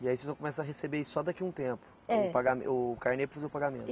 E aí vocês vão começar a receber isso só daqui a um tempo. É. O pagamen, o carnê para fazer o pagamento?